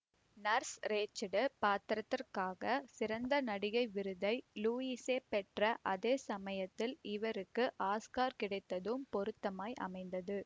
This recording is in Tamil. நர்ஸ் ரேட்ச்டு பாத்திரத்திற்காக சிறந்த நடிகை விருதை லூய்ஸெ பெற்ற அதே சமயத்தில் இவருக்கு ஆஸ்கார் கிடைத்ததும் பொருத்தமாய் அமைந்தது